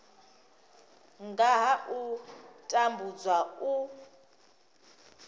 nga ha u tambudzwa u